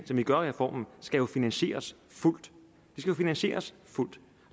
som vi gør i reformen skal jo finansieres fuldt finansieres fuldt